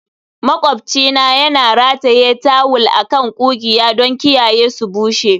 Maƙwabcina yana rataye tawul a kan ƙugiya don kiyaye su bushe.